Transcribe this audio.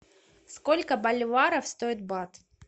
сколько боливаров стоит бат